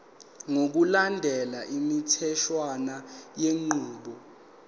ngokulandela imitheshwana yenqubo